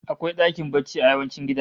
Akwai dakin barci a yawancin gidaje